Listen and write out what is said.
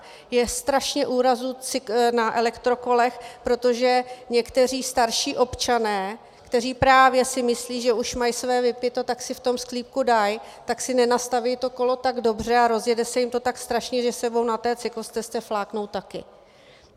Je strašně úrazů na elektrokolech, protože někteří starší občané, kteří právě si myslí, že už mají své vypito, tak si v tom sklípku dají, tak si nenastaví to kolo tak dobře a rozjede se jim to tak strašně, že sebou na té cyklostezce fláknou také.